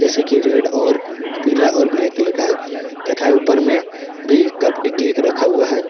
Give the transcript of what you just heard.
जैसे की रेड और पीला और ब्लैक कलर का तथा ऊपर में भी कपटी केक रखा हुआ है।